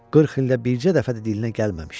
40 ildə bircə dəfə də dilinə gəlməmişdi.